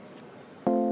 Aitäh!